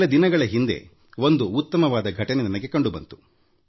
ಇತ್ತೀಚೆಗೆ ಒಂದು ಉತ್ತಮವಾದ ಘಟನೆ ನನ್ನ ಗಮನಕ್ಕೆ ಬಂತು